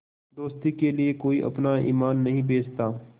दोस्ती के लिए कोई अपना ईमान नहीं बेचता